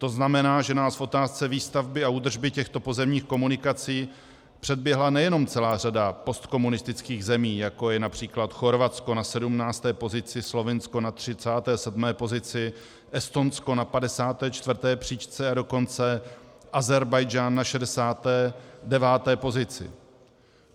To znamená, že nás v otázce výstavby a údržby těchto pozemních komunikací předběhla nejenom celá řada postkomunistických zemí, jako je například Chorvatsko na 17. pozici, Slovinsko na 37. pozici, Estonsko na 54. příčce, a dokonce Ázerbájdžán na 69. pozici.